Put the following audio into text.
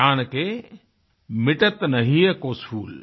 ज्ञान के मिटत न हिय को सूल